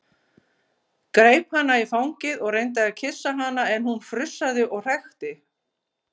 Greip hana í fangið og reyndi að kyssa hana en hún frussaði og hrækti.